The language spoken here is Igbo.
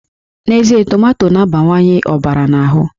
N'ezie, tomato na-abawanye ọbara n'ahụ